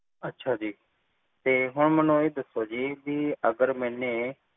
ਅੱਛਾ ਜੀ ਤੇ ਹੁਣ ਮੈਨੂੰ ਇਹ ਦੱਸੋ ਜੀ ਅਗਰ ਮੇਨੇ